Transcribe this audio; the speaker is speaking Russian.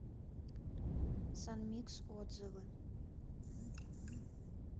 санмикс отзывы